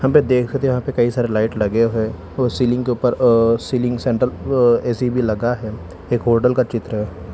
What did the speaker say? देखेते यहाँ पे कई सारे लाइट लगे हुए सीलिंग के ऊपर सीलिंग सेंटर अ ए_सी भी लगा है एक होटल का चित्र है।